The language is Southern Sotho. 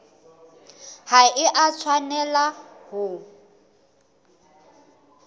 ha e a tshwanela ho